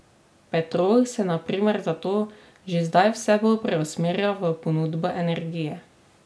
Petrol se na primer zato že zdaj vse bolj preusmerja v ponudbo energije.